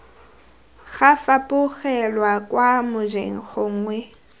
ga fapogelwa kwa mojeng gongwe